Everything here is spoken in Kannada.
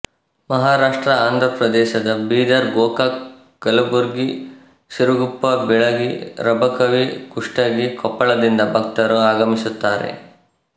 ಮಹಾರಾಷ್ಟ್ರ ಆಂಧ್ರಪ್ರದೇಶ ಬೀದರ್ ಗೋಕಾಕ್ ಕಲಬುರಗಿ ಸಿರುಗುಪ್ಪ ಬೀಳಗಿ ರಬಕವಿ ಕುಷ್ಟಗಿ ಕೊಪ್ಪಳದಿಂದ ಭಕ್ತರು ಆಗಮಿಸುತ್ತಾರೆ